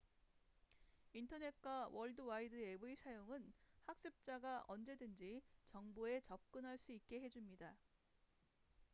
인터넷과 월드와이드웹의 사용은 학습자가 언제든지 정보에 접근할 수 있게 해줍니다